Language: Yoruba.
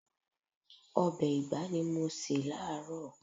Ọbẹ̀ ìgbá ni mo se láaaro.